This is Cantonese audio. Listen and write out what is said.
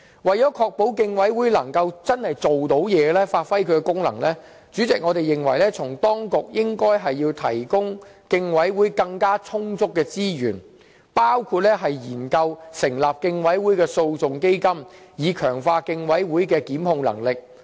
為了確保競委會能夠真的發揮功能，主席，我們認為當局應該為競委會提供更充足的資源，包括研究成立競委會的訴訟基金，以強化競委會的檢控能力。